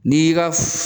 N'i y'i ka